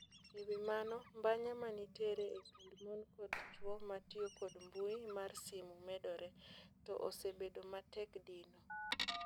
Ewi mano mbanya manitere e kind mon kod chwomatio kod mbui mar simu medore. To osebedo matek dino.